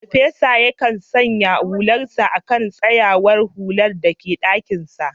Farfesan yakan sanya hularsa a kan tsayawar hular da ke dakinsa